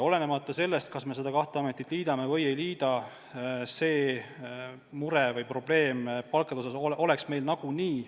Olenemata sellest, kas me need kaks asutust liidame või ei liida, palkade probleem on meil nagunii.